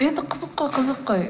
енді қызық қой қызық қой